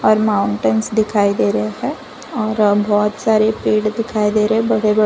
और माउंटेंस दिखाई दे रहे हैं और बहुत सारे पेड़ दिखाई दे रहे हैं बड़े बड़े--